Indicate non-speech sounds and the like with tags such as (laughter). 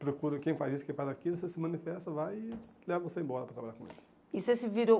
procura quem faz isso, quem faz aquilo, você se manifesta, vai e leva você embora para trabalhar com eles. E você (unintelligible)